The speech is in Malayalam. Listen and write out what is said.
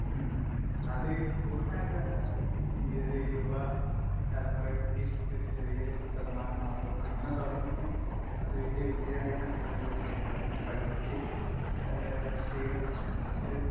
അത്...പൂര്ണമായിട്ട് വേണ്ട...ഈയൊരു..യുവതലമുറയ്ക്ക് ഒരു ചെറിയൊരു ശതമാനം മാത്രം....അങ്ങനെ തുടങ്ങിയാൽ...അത് വലിയ വിജയമാകുവാണേൽ ഒരു പക്ഷെ..അത് പഠിച്ച് രാഷ്ട്രീയത്തിൽ...